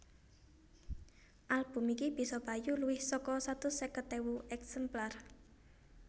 Album iki bisa payu luwih saka satus seket ewu èksemplar